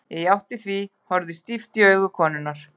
Ég játti því, horfði stíft í augu konunnar.